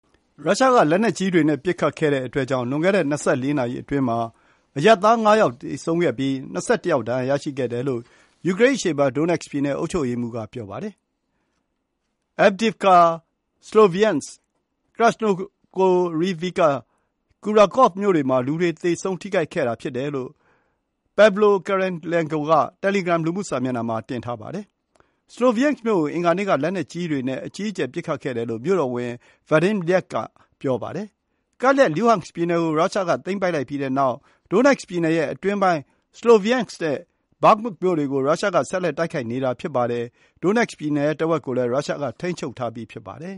ရုရှား က လက်နက်ကြီးတွေ နဲ့ ပစ်ခတ်ခဲ့တဲ့အတွက်ကြောင့် လွန်ခဲ့တဲ့ ၂၄ နာရီအတွင်းမှာ အရပ်သား ငါးယောက် သေဆုံးခဲ့ပြီး၊ ၂၁ ယောက် ဒဏ်ရာရရှိခဲ့တယ်လို့ ယူကရိန်း အရှေ့ပိုင်း Donetsk ပြည်နယ် အုပ်ချုပ်ရေးမှူးက ပြောပါတယ်။ Avdiivka, Sloviansk, Krasnohorivka နဲ့ Kurakhove မြို့တွေမှာ လူတွေ သေဆုံး ထိခိုက်ခဲ့တာ ဖြစ်တယ်လို့ Pavlo Kyrylenko က Telegram လူမှု စာမျက်နှာမှာ တင်ထားပါတယ်။ Sloviansk မြို့ကို အင်္ဂါနေ့ က လက်နက်ကြီးတွေ နဲ့ အကြီးအကျယ် ပစ်ခတ်ခဲ့တယ်လို့ မြို့တော်ဝန် Vadim Lyakh က ပြောပါတယ်။ ကပ်လျက် Luhansk ပြည်နယ် ကို ရုရှားက သိမ်းပိုက်လိုက်ပြီးတဲ့နောက် Donetsk ပြည်နယ်ရဲ့ အတွင်းပိုင်း Sloviansk နဲ့ Bakhmut မြို့တွေကို ရုရှားက ဆက်လက် တိုက်ခိုက်နေတာ ဖြစ်ပါတယ်။ Donetsk ပြည်နယ်ရဲ့ တစ်ဝက်ကိုလည်း ရုရှားက ထိန်းချုပ်ထားပြီး ဖြစ်ပါတယ်။